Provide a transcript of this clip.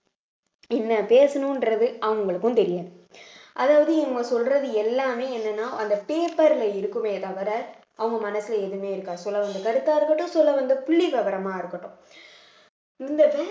என்ன பேசணுன்றது அவங்களுக்கும் தெரியாது அதாவது இவங்க சொல்றது எல்லாமே என்னன்னா அந்த paper ல இருக்குமே தவிர அவங்க மனசுல எதுவுமே இருக்காது சொல்ல வந்த கருத்தா இருக்கட்டும் சொல்ல வந்த புள்ளி விவரமா இருக்கட்டும் இந்த